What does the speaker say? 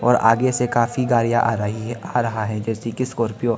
और आगे से काफी गाड़ियां आ रही है आ रहा है जैसे कि स्कॉर्पियो ।